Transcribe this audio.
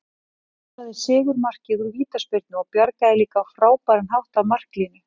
Hann skoraði sigurmarkið úr vítaspyrnu og bjargaði líka á frábæran hátt af marklínu.